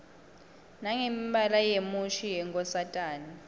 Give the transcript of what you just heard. nangemibala yemushi yenkosatane